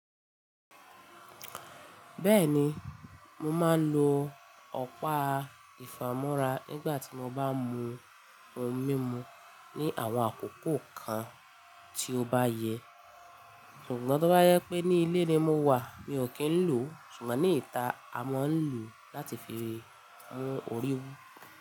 Bẹ́ẹ̀ni, mo máa ń lo ọ̀pá ìfámọ́ra n gbà tí mo bá n mú oun mímu ní àwọn àkókò kan tí ó bá yẹ. Ṣùgbọ́n tó bá yẹ pé ní ilé ni mo wà, mi ò kí ń lò ó. Ṣùgbọ́n ní ìta, a mọ ń lò ó láti fi mú orí wú.